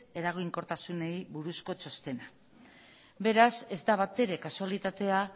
eraginkortasunei buruzko txostena beraz ez da batere kasualitatea